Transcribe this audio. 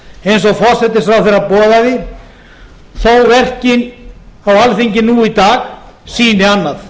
eins og forsætisráðherra boðaði þó verkin á alþingi nú í dag sýni annað